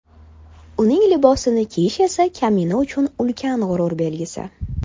Uning libosini kiyish esa kamina uchun ulkan g‘urur belgisi.